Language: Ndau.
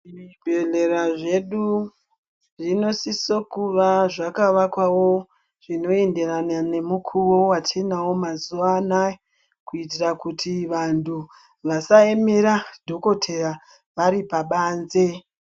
Zvibhedhlera zvedu zvinosise kuva zvaka vakwavo zvino enderana nemukuwo watinawo mazuwa anaya. Kuitira kuti vantu vasaemera dhokotheya varipabanze.